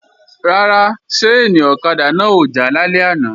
Rárá, ṣáìnì ọ̀kadà náà ò já lálẹ́ àná